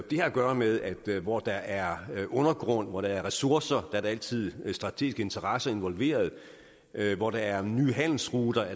det har at gøre med at hvor der er undergrund hvor der er ressourcer er der altid strategiske interesser involveret at hvor der er nye handelsruter